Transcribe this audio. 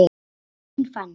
Þín Fanney.